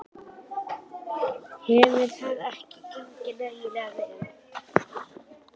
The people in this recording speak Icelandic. Hefur það ekki gengið nægilega vel?